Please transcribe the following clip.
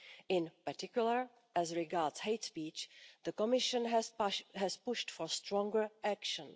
In particular, as regards hate speech, the Commission has pushed for stronger action